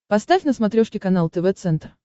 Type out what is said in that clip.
поставь на смотрешке канал тв центр